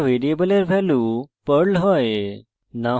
যখন ঘোষিত করা ভ্যারিয়েবলের value perl has